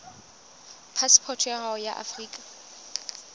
phasepoto ya hao ya afrika